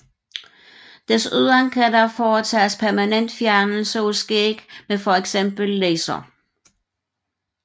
Desuden kan der foretages permanent fjernelse af skæg med fx laser